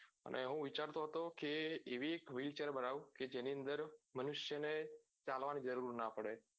અને હું વિચારતો હતો કે એવી એક wheel chair બનવું કે જેની અંદર મનુષ્ય ને ચાલવા ની જરૂર નાં પડે